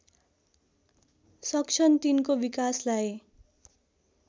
सक्छन् तिनको विकासलाई